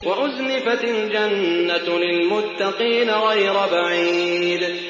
وَأُزْلِفَتِ الْجَنَّةُ لِلْمُتَّقِينَ غَيْرَ بَعِيدٍ